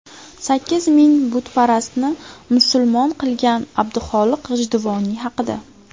Sakkiz ming butparastni musulmon qilgan Abdulxoliq G‘ijduvoniy haqida.